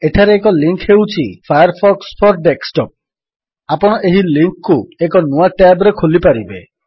ଏଠାରେ ଏକ ଲିଙ୍କ୍ ହେଉଛି - ଫାୟାରଫକ୍ସ ଫୋର ଡେସ୍କଟପ୍ ଆପଣ ଏହି ଲିଙ୍କ୍ କୁ ଏକ ନୂଆ ଟ୍ୟାବ୍ ରେ ଖୋଲିପାରିବେ